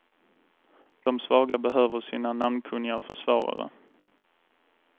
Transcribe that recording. De svaga behöver sina namnkunniga försvarare.